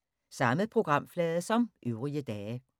Samme programflade som øvrige dage